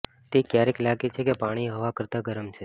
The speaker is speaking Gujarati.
તે ક્યારેક લાગે છે કે પાણી હવા કરતાં ગરમ છે